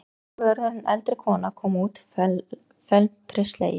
Kirkjuvörðurinn, eldri kona, kom út felmtri slegin.